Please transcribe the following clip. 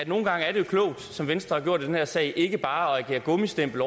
nogle gange er klogt som venstre har gjort i den her sag ikke bare at agere gummistempel